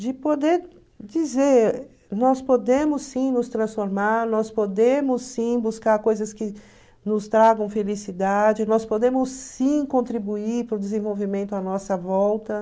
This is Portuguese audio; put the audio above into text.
De poder dizer, nós podemos sim nos transformar, nós podemos sim buscar coisas que nos tragam felicidade, nós podemos sim contribuir para o desenvolvimento à nossa volta.